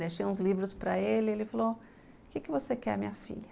Deixei uns livros para ele, ele falou, o que você quer, minha filha?